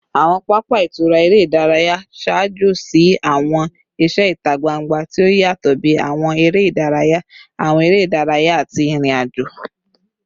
Awọn papa itura ere idaraya n ṣaajo si awọn iṣẹ ita gbangba ti o yatọ bi awọn ere idaraya, awọn ere idaraya, ati irin-ajo